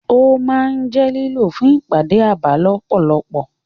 Ó máa ń jẹ́ lílò fún ìpàdé abà lọ́pọ̀lọpọ̀.